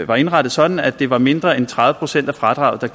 var indrettet sådan at det var mindre end tredive procent af fradraget der